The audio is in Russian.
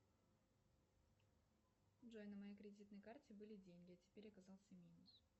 джой на моей кредитной карте были деньги а теперь оказался минус